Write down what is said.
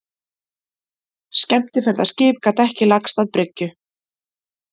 Skemmtiferðaskip gat ekki lagst að bryggju